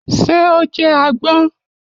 Ṣé o jẹ àgbon?